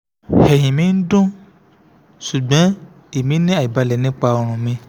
ẹhin mi n dun ṣugbọn emi ni aibalẹ nipa ọrùn mi